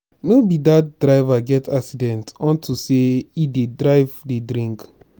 no be dat driver get accident unto say he dey drive dey drink.